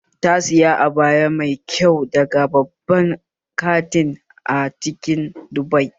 Ta saya abaya mai kyau daga babban kanti a cikin Dubai